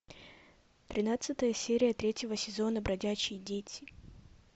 тринадцатая серия третьего сезона бродячие дети